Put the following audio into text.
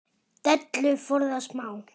Dellu forðast má.